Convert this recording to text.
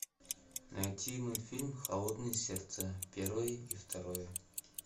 найти мультфильм холодное сердце первое и второе